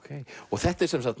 þetta er